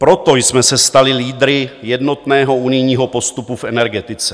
Proto jsme se stali lídry jednotného unijního postupu v energetice.